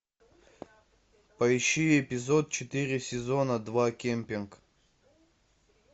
поищи эпизод четыре сезона два кемпинг